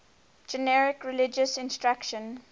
generic religious instruction